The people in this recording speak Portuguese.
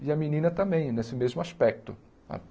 E a menina também, nesse mesmo aspecto.